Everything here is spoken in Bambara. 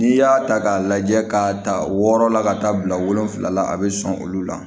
N'i y'a ta k'a lajɛ ka ta wɔɔrɔ la ka taa bila wolonwula la a bɛ sɔn olu la